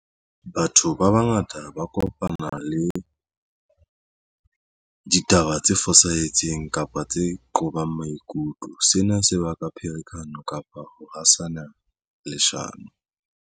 Batho ba bangata ba kopana le ditaba tse fosahetseng kapa tse qobang maikutlo. Sena se baka pherekano kapa ho hasana leshano.